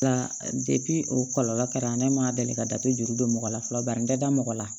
Nka o kɔlɔlɔ kɛra ne ma deli ka da to juru dɔ la fɔlɔ bari n tɛ da mɔgɔ la